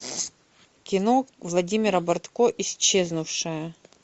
кино владимира бортко исчезнувшая